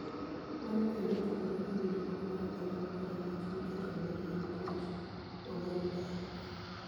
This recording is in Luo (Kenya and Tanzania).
mano kendo, mopogore gi winjruok mar omenda makore lach mikete lwedo en puonj mawayudoe?